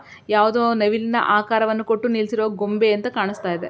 ಯಾವುದೋ ಒಂದು ನವಿಲ್ಲ ಆಕಾರವನ್ನು ಕೊಟ್ಟು ನಿಲ್ಲಿಸಿರುವ ಗೊಂಬೆ ಅಂತ ಕಾಣಿಸ್ತಾ ಇದೆ.